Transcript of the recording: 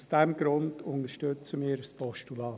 Aus diesem Grund unterstützen wir ein Postulat.